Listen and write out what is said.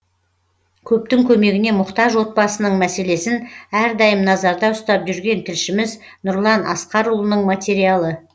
көптің көмегіне мұқтаж отбасының мәселесін әрдайым назарда ұстап жүрген тілшіміз нұрлан асқарұлының материалы